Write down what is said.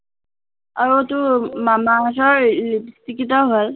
আৰু তোৰ মামা আৰ্থৰ এৰ lipstick কেইটাও ভাল